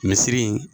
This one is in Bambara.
Misiri in